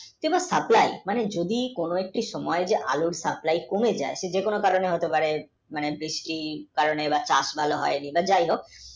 কিন্তু supply মানে কোনো একটা সময় যদি আলুর supply কমে যেতে পারে যে কোনও কারণের জন্যে হতে পারে বৃষ্টির কারণে হতে পারে বা হতে পারে